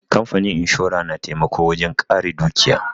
Kamfanin inshora na taimako wajen ƙare dukiya.